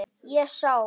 Ég sá.